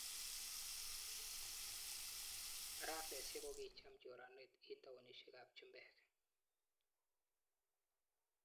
Barasesiek kokicham choraneg eng taonishek ap chumbeek